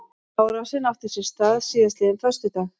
Árásin átti sér stað síðastliðinn föstudag